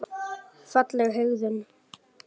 Fagleg hegðun.